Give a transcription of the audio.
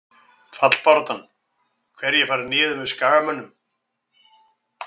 Fallbaráttan- Hverjir fara niður með Skagamönnum?